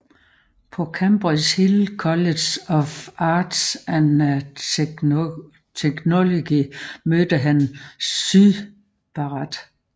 På Cambridgeshire College of Arts and Technology mødte han Syd Barrett